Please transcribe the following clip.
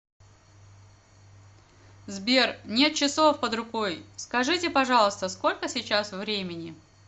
сбер нет часов под рукой скажите пожалуйста сколько сейчас времени